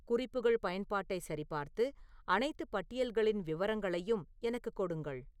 குறிப்புகள் பயன்பாட்டைச் சரிபார்த்து அனைத்து பட்டியல்களின் விவரங்களையும் எனக்குக் கொடுங்கள்